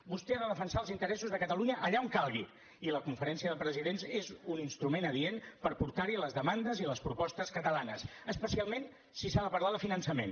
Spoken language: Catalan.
vostè ha de defensar els interessos de catalunya allà on calgui i la conferència de presidents és un instrument adient per portar hi les demandes i les propostes catalanes especialment si s’ha de parlar de finançament